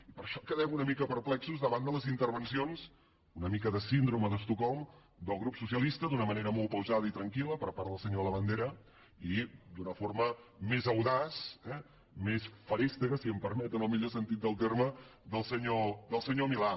i per això quedem una mica perplexos davant de les intervencions una mica de síndrome d’estocolm del grup socialista d’una manera molt pausada i tranquil·la per part del senyor labandera i d’una forma més audaç més feréstega si em permeten el millor sentit del terme del senyor milà